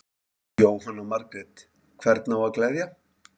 Jóhanna Margrét: Hvern á að gleðja?